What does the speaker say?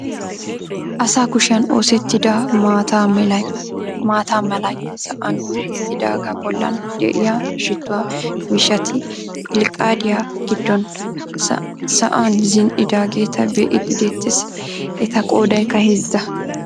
Asa kushiyaan oosettida maata malay sa'an hiixettidagaa bollan de'iyaa shittuwaa miishshati pilqqaadiyaa giddon sa'aan zini"idageeta be'iidi de'ettees. Eta qodaykka heezza.